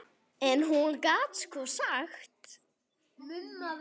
En hún gat sko sagt.